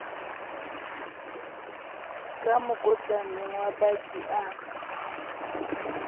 ka mokotlaneng wa baki a